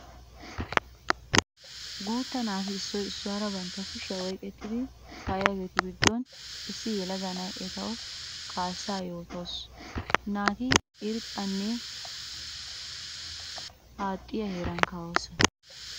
Guutta naati issoy issuwara bantta kushiya oyqqettiddi kaa'iyagettu giddon issi yelaga na'iya ettawu kaassa yootawussu. Naati irxxanne haaxxiya heeran kaa'osonna.